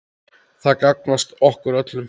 Það gagnast okkur öllum.